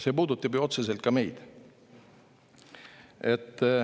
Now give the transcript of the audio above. See puudutab ju otseselt ka meid.